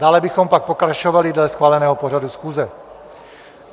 Dále bychom pak pokračovali dle schváleného pořadu schůze.